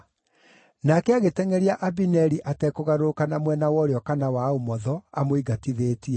Nake agĩtengʼeria Abineri atekũgarũrũka na mwena wa ũrĩo kana wa ũmotho, amũingatithĩtie.